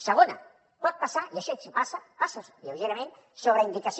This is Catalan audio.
segona pot passar i això sí que passa passa lleugerament sobreindicació